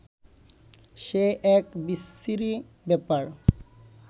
সে এক বিচ্ছিরি ব্যাপার